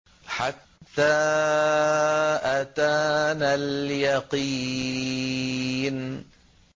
حَتَّىٰ أَتَانَا الْيَقِينُ